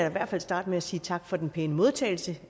i hvert fald starte med at sige tak for den pæne modtagelse